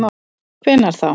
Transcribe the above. Hvenær þá?